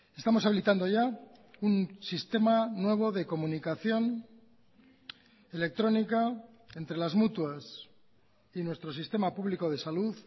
estamos habilitando ya un sistema nuevo de comunicación electrónica entre las mutuas y nuestro sistema público de salud